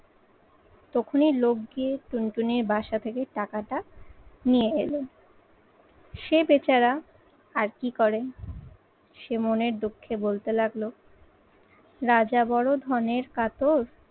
তখনি লোক গিয়ে টুনটুনির বাসা থেকে টাকাটা নিয়ে এলো। সে বেচারা আর কি করেন সে মনের দুঃখে বলতে লাগলো রাজা বড়ো ধনের কাতর